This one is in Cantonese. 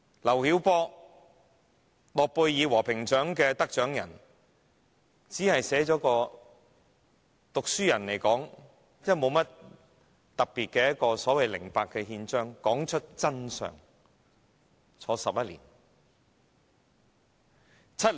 諾貝爾和平獎得獎人劉曉波，只是以讀書人身份寫了一份《零八憲章》，道出真相，便被判監11年。